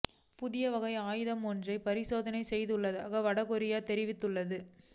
புதிய வகையான ஆயுதம் ஒன்றைப் பரிசோதனை செய்துள்ளதாக வட கொரியா தெரிவித்துள்ளது